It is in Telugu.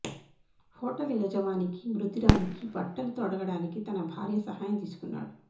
హోటల్ యజమానికి మృతురాలికి బట్టలు తొడగడానికి తన భార్య సహాయం తీసుకున్నాడు